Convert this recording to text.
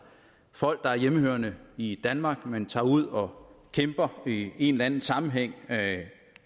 folk der er hjemmehørende i danmark men som tager ud og kæmper i en eller anden sammenhæng